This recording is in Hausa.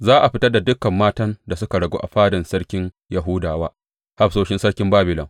Za a fitar da dukan matan da suka ragu a fadan sarkin Yahuda wa hafsoshin sarkin Babilon.